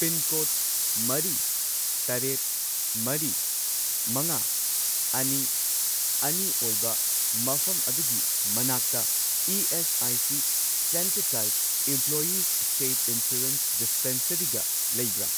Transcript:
Pincode ꯃꯔꯤ, ꯇꯔꯦꯠ, ꯃꯔꯤ, ꯃꯉꯥ, ꯑꯅꯤ, ꯑꯅꯤ ꯑꯣꯏꯕ ꯃꯐꯝ ꯑꯗꯨꯒꯤ ꯃꯅꯥꯛꯇ ESIC. Centre type employees state insurance ꯗꯤꯁꯄꯦꯟꯁꯔꯤꯒ ꯂꯩꯕ꯭ꯔꯥ?